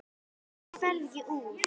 Af hverju ferðu ekki úr?